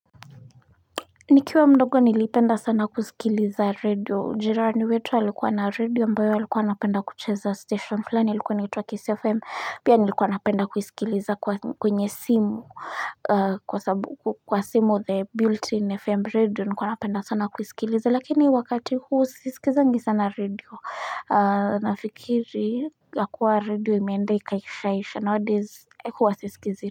Nikiwa mdogo nilipenda sana kusikiliza radio jirani wetu alikuwa na radio ambayo alikuwa napenda kucheza station fulani ilikuwa nitua kisi fm pia nilikuwa napenda kusikiliza kwenye simu aa kwa sabu kwa simu the built in fm radio nikuwa napenda sana kusikiliza lakini wakati huu sisikizangi sana radio aa nafikiri la kuwa radio imeende ikaishaisha nowadays kuwasisikizi.